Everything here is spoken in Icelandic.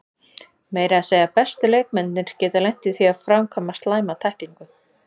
Meira að segja bestu leikmennirnir geta lent í því að framkvæma slæma tæklingu.